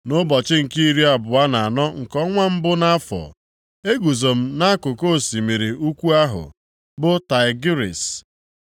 Nʼụbọchị nke iri abụọ na anọ nke ọnwa mbụ nʼafọ, eguzo m nʼakụkụ osimiri ukwu ahụ, bụ Taịgris,